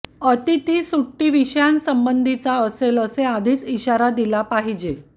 अतिथी सुट्टी विषयासंबंधीचा असेल हे आधीच इशारा दिला पाहिजे